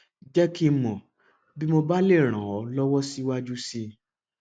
jẹ kí n mọ bí mo bá lè ràn ọ lọwọ síwájú sí i